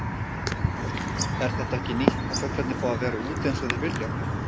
Og er þetta ekki nýtt að fuglarnir fá að vera úti eins og þeir vilja?